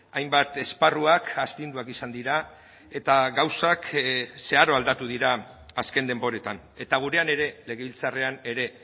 hainbat esparruak astinduak izan dira eta gauzak zeharo aldatu dira azken denboretan eta gurean ere legebiltzarrean ere